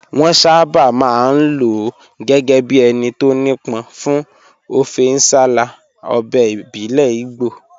Wọ́n sábà máa ń lò ó gẹ́gẹ́ bí ẹni tó nípọn fún ọfẹ nsala, ọbẹ̀ ìbílẹ̀ Igbo